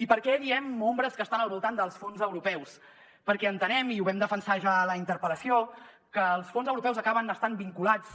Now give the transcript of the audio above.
i per què diem ombres que estan al voltant dels fons europeus perquè entenem i ho vam defensar ja a la interpel·lació que els fons europeus acaben estant vinculats